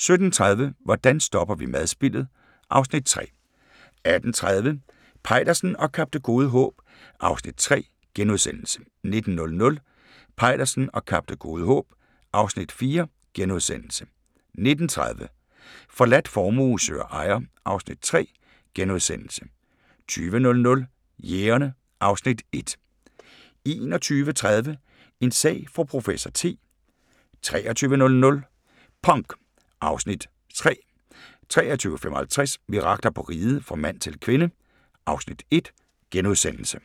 17:30: Hvordan stopper vi madspildet? (Afs. 3) 18:30: Peitersen og Kap Det Gode Håb (Afs. 3)* 19:00: Peitersen og Kap Det Gode Håb (Afs. 4)* 19:30: Forladt formue søger ejer (Afs. 3)* 20:00: Jægerne (Afs. 1) 21:30: En sag for professor T 23:00: Punk (Afs. 3) 23:55: Mirakler på Riget – Fra mand til kvinde (Afs. 1)*